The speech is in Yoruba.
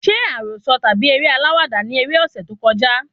Ṣé àròsọ tàbí eré aláwàdà ni eré ọsẹ tó kọjá?